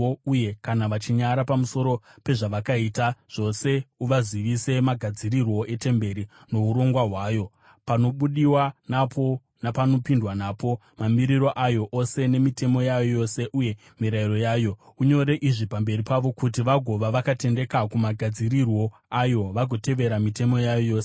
uye kana vachinyara pamusoro pezvavakaita zvose, uvazivise magadzirirwo etemberi, nourongwa hwayo, panobudiwa napo napanopindwa napo, mamiriro ayo ose nemitemo yayo yose uye mirayiro yayo. Unyore izvi pamberi pavo kuti vagova vakatendeka kumagadzirirwo ayo vagotevera mitemo yayo yose.